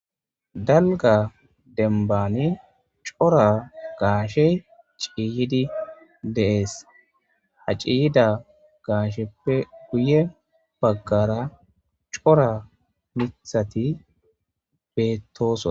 Dalga dembani cora gaashey ciiyyidi de'ees. Ha ciyyida gaasheppe guye baggara cora miththati beetosona.